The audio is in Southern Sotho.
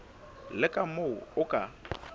le ka moo o ka